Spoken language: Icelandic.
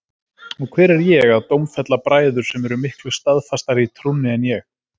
Og hver er ég að dómfella bræður sem eru miklu staðfastari í trúnni en ég?